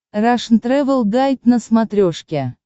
рашн тревел гайд на смотрешке